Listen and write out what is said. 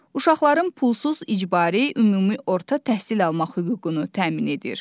Uşaqların pulsuz icbari ümumi orta təhsil almaq hüququnu təmin edir.